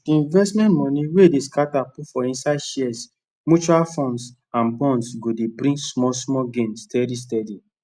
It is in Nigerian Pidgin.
d investment moni wey dey scata put for inside shares mutual funds and bonds go dey bring small small gain steady steady